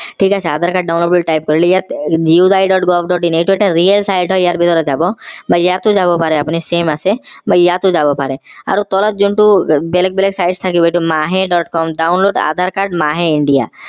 ঠিক আছে aadhaar card download বুলি type কৰিলে ইয়াত gvt. in এইটো এটা real site হয় ইয়াৰ ভিতৰত যাব বা ইয়াত যাব পাৰে আপোনি same আছে বা ইয়াতো যাব পাৰে আৰু তলত যোনটো বেলেগ বেলেগ sites থাকিব এইটো mahe. com download aadhaar card mahe india